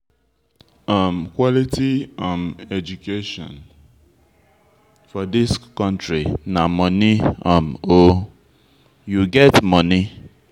um Quality um education for dis country na moni um o, you get moni?